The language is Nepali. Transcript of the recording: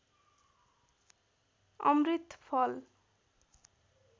अमृत फल